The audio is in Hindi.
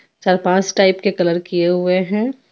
चार पांच टाइप के कलर किए हुए हैं।